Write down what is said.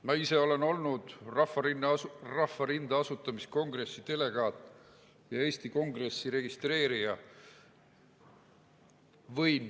Ma ise olen olnud Rahvarinde asutamiskongressi delegaat ja Eesti Kongressi registreerija.